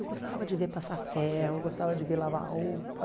Eu gostava de ver passar ferro, gostava de ver lavar roupa.